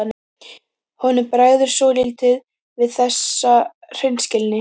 Honum bregður svolítið við þessa hreinskilni.